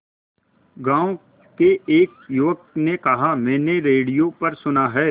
गांव के एक युवक ने कहा मैंने रेडियो पर सुना है